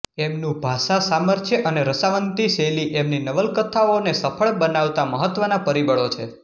એમનું ભાષાસામર્થ્ય અને રસાન્વિત શૈલી એમની નવલકથાઓને સફળ બનાવતાં મહત્વનાં પરિબળો છે